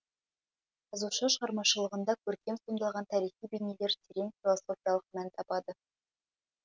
жазушы шығармашылығында көркем сомдалған тарихи бейнелер терең философиялық мән табады